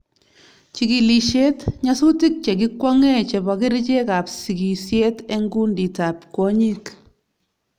Chigilisyet: Nyasutik che ki kwong'e chebo kerichek ab sigisyet eng kundit ab kwonyik